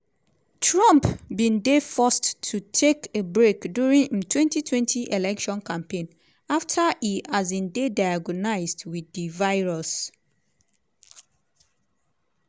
trump bin dey forced to take a break during im 2020 election campaign afta e um dey diagnosed wit di virus.